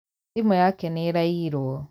Thimũ yake nĩĩraiirwo